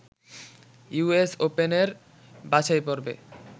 US ওপেনের বাছাইপর্বে